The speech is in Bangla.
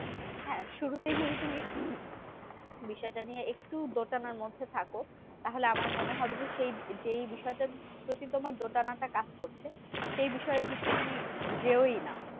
বিষয়টা নিয়ে একটু দোটানার মধ্যে থাকো। তাহলে আমার মনে হবে যে, সেই যেই বিষয়টা প্রতি তোমার দোটানাটা কাজ করছে? সেই বিষয়ের দিকে তুমি যেওই না।